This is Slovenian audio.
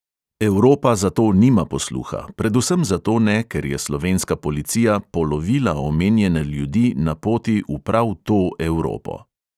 Evropa za to nima posluha, predvsem zato ne, ker je slovenska policija "polovila" omenjene ljudi na poti v prav to evropo.